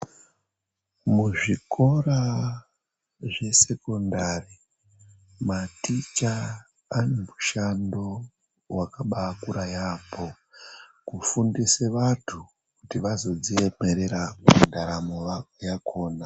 Muzvikora zvesekondari maticha anemushando waakaba akura yaamho kufundise vantu kuti vazodziemerera pandaramo yakona.